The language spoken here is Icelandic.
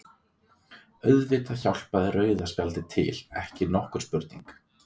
Auðvitað hjálpaði rauða spjaldið til, ekki nokkur spurning.